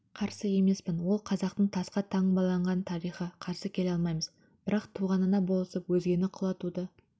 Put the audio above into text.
қарсы емеспін ол қазақтың тасқа таңбаланған тарихы қарсы келе алмаймыз бірақ туғанына болысып өзгені құлатуды